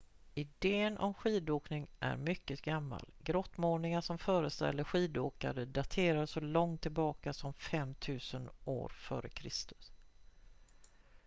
idén om skidåkning är mycket gammal grottmålningar som föreställer skidåkare dateras så långt tillbaka som 5 000 f.kr